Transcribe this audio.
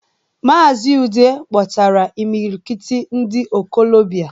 Maazi Udeh kpọtara imilikiti ndi okolobia...